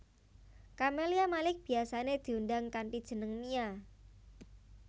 Camelia Malik biyasané diundang kanthi jeneng Mia